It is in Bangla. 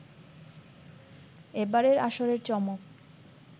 এবারের আসরের চমক